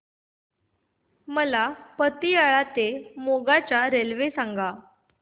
मला पतियाळा ते मोगा च्या रेल्वे सांगा